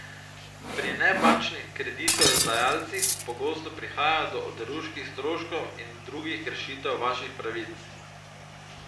Pri nebančnih kreditodajalcih pogosto prihaja do oderuških stroškov in drugih kršitev vaših pravic.